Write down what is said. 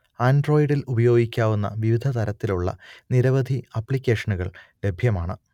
ആൻഡ്രോയ്ഡിൽ ഉപയോഗിക്കാവുന്ന വിവിധതരത്തിലുള്ള നിരവധി ആപ്ലിക്കേഷനുകൾ ലഭ്യമാണ്